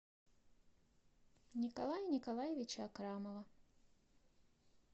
николая николаевича акрамова